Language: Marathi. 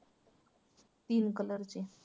तीन colour चे.